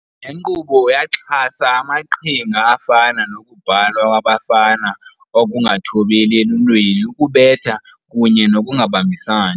Le nkqubo yaxhasa amaqhinga afana nokubhalwa kwabafana, ukungathobeli eluntwini, ukubetha, kunye nokungabambisani.